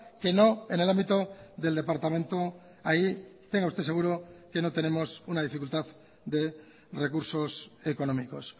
que no en el ámbito del departamento ahí tenga usted seguro que no tenemos una dificultad de recursos económicos